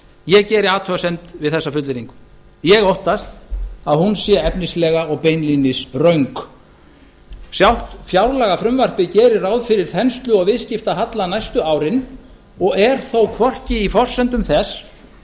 ég geri athugasemdir við þessa fullyrðingu ég óttast að hún sé efnislega og beinlínis efnislega röng sjálf fjárlagafrumvarpið gerir ráð fyrir þenslu og viðskiptahalla næstu árin og er þó hvorki í forsendum þess